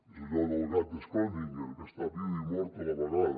és allò del gat de schrödinger que està viu i mort a la vegada